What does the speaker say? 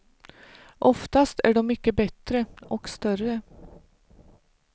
Oftast är dom mycket bättre, och större.